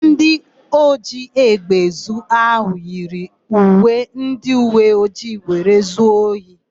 Ndị ojiégbè ezu áhụ̀ yiri uwe ndịuweojii were zuo ohi.